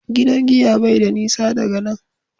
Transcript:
gidan giya bai da nisa daga nan